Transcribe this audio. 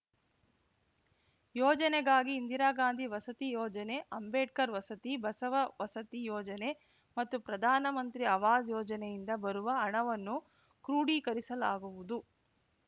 ಯೋಜನೆಗಾಗಿ ಇಂದಿರಾಗಾಂಧಿ ವಸತಿ ಯೋಜನೆ ಅಂಬೇಡ್ಕರ್‌ ವಸತಿ ಬಸವ ವಸತಿ ಯೋಜನೆ ಮತ್ತು ಪ್ರಧಾನಮಂತ್ರಿ ಅವಾಸ್‌ ಯೋಜನೆಯಿಂದ ಬರುವ ಹಣವನ್ನು ಕ್ರೋಢೀಕರಿಸಲಾಗುವುದು